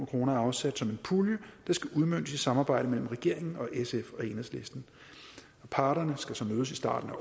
kroner er afsat som en pulje der skal udmøntes i samarbejde mellem regeringen og sf og enhedslisten parterne skal så mødes i starten